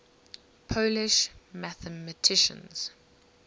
polish mathematicians